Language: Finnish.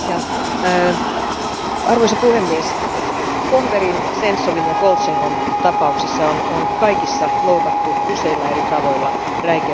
Arvoisa puhemies, Kohverin, Sentsovin ja Koltšenkon tapauksissa on kaikissa loukattu useilla eri tavoilla räikeästi kansainvälistä oikeutta.